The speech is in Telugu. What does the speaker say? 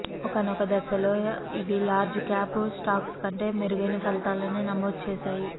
ఒకానొక దశలో ఇవి లార్జ్ క్యాప్ స్టాక్స్ కంటే మెరుగైన ఫలితాలనే నమోదు చేశాయి